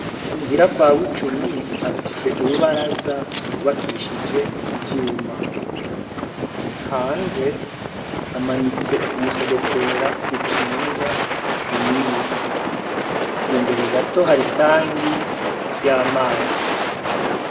Umuhira kwabo i cumi afise urubaraza kubakishije ivyuma hanze amanitse umusegetera ukinga imibu imbere gato haritangi y' amazi.